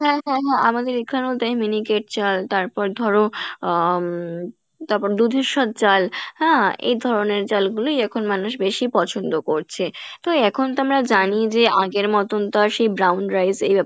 হ্যাঁ হ্যাঁ হ্যাঁ আমাদের এইখানেও তাই miniket চাল তারপর ধরো আহ তারপর ধুধেসর চাল হ্যাঁ এই ধরনের চাল গুলোই এখন মানুষ বেশি পছন্দ করছে তো এখন তো আমরা জানি যে আগের মতন তো আর সেই brown rice এই ব্যাপার